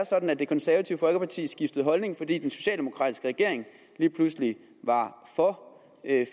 sådan at det konservative folkeparti skiftede holdning fordi den socialdemokratiske regering lige pludselig var for